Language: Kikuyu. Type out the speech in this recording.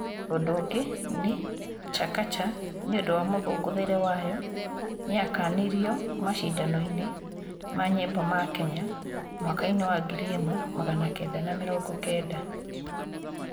ũndũ ũngĩ nĩ, Chakacha, nĩ ũndũ wa mũthũngũthĩre wayo, ni yakanirio macindano-inĩ ma nyĩmbo ma Kenya miaka-inĩ wa 1990.